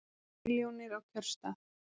Milljónir á kjörstað